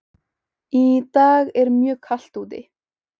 Í dag er mjög kalt úti.